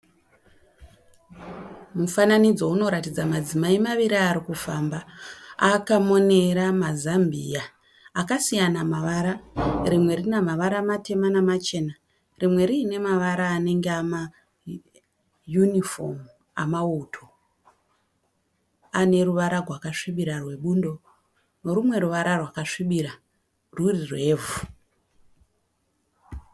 Mufananidzo unoratidza madzimai maviri arikufamba akamonera mazambiya akasiyana mavara. Rimwe rinamavara matema namachena. Rimwe riine mavara anenge amayunifomu amauto, aneruvara gwakasvibira rwebundo nerumwe ruvara rwakasvibira ruri rwevhu.